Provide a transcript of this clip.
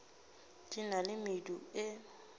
di na le medu e